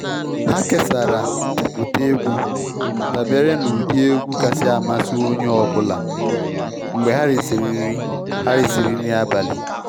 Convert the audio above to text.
Ha kesara ndepụta egwu dabere na ụdị egwu kasi amasị onye ọbụla mgbe ha risiri nri ha risiri nri abalị.